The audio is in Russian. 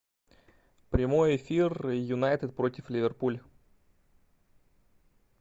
прямой эфир юнайтед против ливерпуль